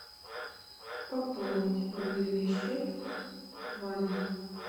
пополнить мобильный счет ваня